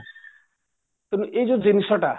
ତେଣୁ ଏଇଯୋଉ ଜିନିଷଟା